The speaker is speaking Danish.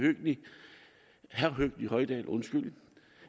herre høgni hoydal